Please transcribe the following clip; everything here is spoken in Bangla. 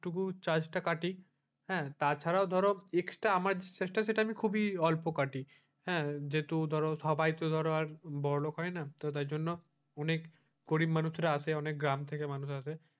ওইটুকু charge টা কাটি হ্যাঁ তাছাড়াও ধরো extra আমার সেটা খুবই অল্প কাটি হ্যাঁ যেহেতু ধরো সবাই তো ধরো বড়লোক হয় না তাদের জন্য অনেক গরিব মানুষরা আসে অনেক গ্রাম মানুষ আসে।